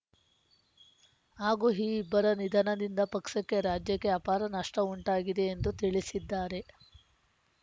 ಹಾಗೂ ಈ ಇಬ್ಬರ ನಿಧನದಿಂದ ಪಕ್ಷಕ್ಕೆ ರಾಜ್ಯಕ್ಕೆ ಆಪಾರ ನಷ್ಟಉಂಟಾಗಿದೆ ಎಂದು ತಿಳಿಸಿದ್ದಾರೆ